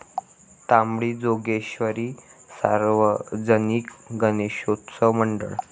तांबडी जोगेश्वरी सार्वजनिक गणेशोत्सव मंडळ